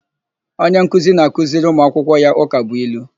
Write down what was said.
Onye nkuzi na-akụziri ụmuakwụkwọ ya ụkabụilu.